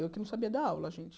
Eu que não sabia dar aula, gente.